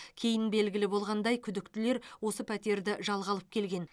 кейін белгілі болғандай күдіктілер осы пәтерді жалға алып келген